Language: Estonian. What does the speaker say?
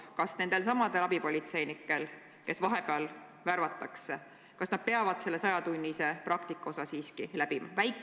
Kas need abipolitseinikud, kes vahepeal värvatakse, peavad selle 100-tunnise praktika siiski läbima?